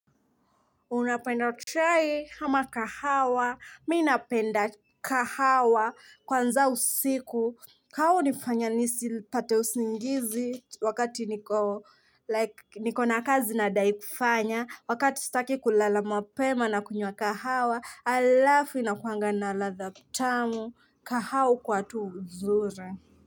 Unapenda chai hama kahawa, mii napenda kahawa kwanza usiku. Kahawa hunifanya nisipate usingizi wakati niko na kazi nadai kufanya. Wakati sitaki kulala mapema nakunywa kahawa, alafu inakuanga na ladha mtamu, kahawa hukuwa tu uzuri.